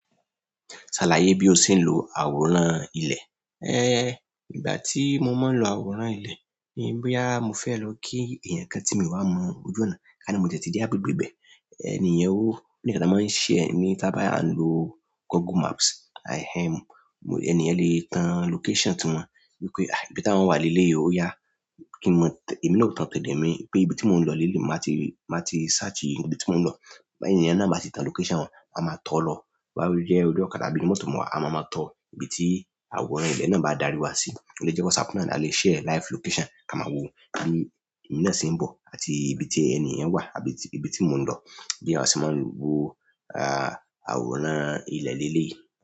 Sàlàyé bi o ṣe n lo àwòrán ilẹ? Ìgbà tí mo máa ń lo àwòrán ilé ni bóyá mo fẹ́ lọ kí èèyàn kan tí mi o wá mọ ojú ọ̀nà, kani mo ti di agbègbè ibẹ̀, ènìyen ó, nígbà tí máa ń share ní tábà ya ń lo Google Maps. Ẹni yẹn lè tan location tí wọ́n, wípé ibi tí àwọn wọ́n wà leleyii ó oyá. Èmi náà ó tan t'ọdọ mi pé ibi tí mò ń lọ leleyii, màá ti search ibi tí mò ń lọ. Te ẹni yẹn náà bá ti tan location wọn, máa máa tọ̀ ọ́ lọ. Bóyá o jẹ́ orí ọ̀kadà àbí inú mọ́tò mo wà, a máa máa tọ ibi tí àwòrán ilẹ̀ náà bá darí wa sí. Ó lè jẹ́ WhatsApp náà ni a lè share live location ka máa wò bi èmi náà ṣe ń bọ̀ àti ibi tí ẹni yen wà àbí ibi tí mò ń lọ. Bí àwa ṣe máa ń wò àwòrán ilẹ̀ leleyii.